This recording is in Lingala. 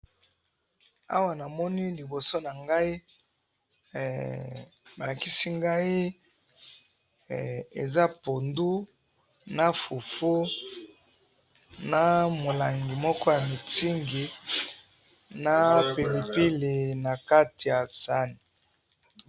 awa namoni liboso nangai, balakisi ngai eza pondu, na fufu, na molangi moko ya miitzing, na pilipili nakati ya sahani